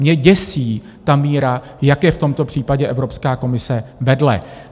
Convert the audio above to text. Mě děsí ta míra, jak je v tomto případě Evropská komise vedle.